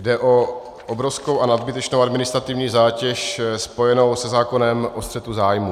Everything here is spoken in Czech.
Jde o obrovskou a nadbytečnou administrativní zátěž spojenou se zákonem o střetu zájmů.